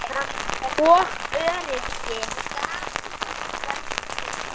og öryrki.